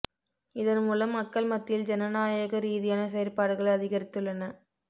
இதன் மூலம் மக்கள் மத்தியில் ஜனநாயக ரீதியான செயற்பாடுகள் அதிகரித்துள்ளன